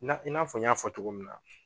Na i n'a fɔ n y'a fɔ cogo min na